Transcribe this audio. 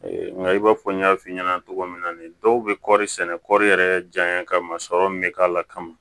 Nka i b'a fɔ n y'a f'i ɲɛna cogo min na nin dɔw bɛ kɔri sɛnɛ kɔɔri yɛrɛ janya ka sɔrɔ min bɛ k'a la kama